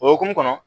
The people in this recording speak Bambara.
O hukumu kɔnɔ